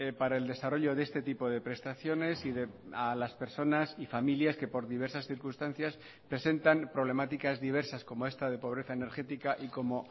para el desarrollo de este tipo de prestaciones y a las personas y familias que por diversas circunstancias presentan problemáticas diversas como esta de pobreza energética y como